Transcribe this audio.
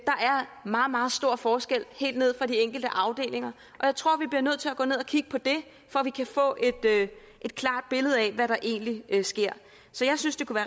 meget meget store forskelle helt nede på de enkelte afdelinger og jeg tror vi bliver nødt til at gå ned at kigge på det for at vi kan få et klart billede af hvad der egentlig sker så jeg synes det kunne